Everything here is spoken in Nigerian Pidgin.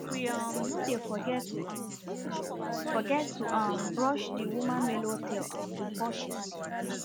we um no dey forget to um forget to um brush the woman melu tail um before she sleep